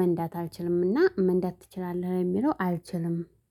መንዳት አልችልምና። መንዳት ትችላለህ የሚለው አልችልም